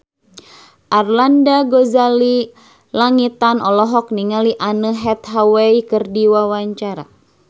Arlanda Ghazali Langitan olohok ningali Anne Hathaway keur diwawancara